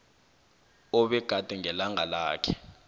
obegade ngelanga lakhe